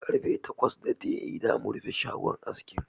Karfe takwas daidai zamu rufe shagon askin.